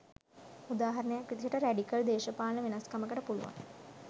උදාහරණයක් විදිහට රැඩිකල් දේශපාලන වෙනස්කමකට පුළුවන්